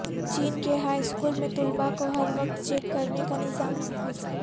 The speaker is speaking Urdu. چین کے ہائی سکول میں طلبہ کو ہروقت چیک کرنے کا نظام نافذ